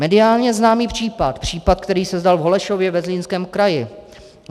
Mediálně známý případ, případ, který se stal v Holešově ve Zlínském kraji.